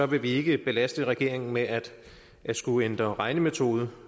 vil vi ikke belaste regeringen med at skulle ændre regnemetode